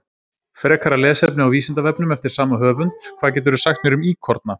Frekara lesefni á Vísindavefnum eftir sama höfund: Hvað geturðu sagt mér um íkorna?